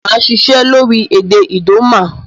Màa sisẹ́ lórí èdè Idoma